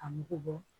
A mugu bɔ